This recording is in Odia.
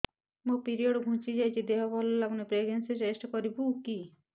ମୋ ପିରିଅଡ଼ ଘୁଞ୍ଚି ଯାଇଛି ଦେହ ଭଲ ଲାଗୁନି ପ୍ରେଗ୍ନନ୍ସି ଟେଷ୍ଟ କରିବୁ କି